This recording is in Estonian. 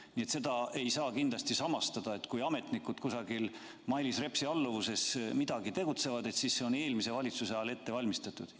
Kindlasti ei saa samastada seda, kui ametnikud kusagil Mailis Repsi alluvuses midagi tegid, sellega, et tegemist on eelmises valitsuses ette valmistatuga.